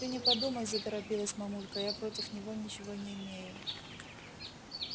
ты не подумай заторопилась мамулька я против него ничего не имею